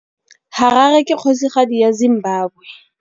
Harare ke kgosigadi ya Zimbabwe.